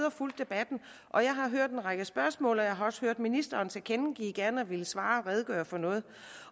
og fulgt debatten og jeg har hørt en række spørgsmål jeg har også hørt ministeren tilkendegive gerne at ville svare og redegøre for noget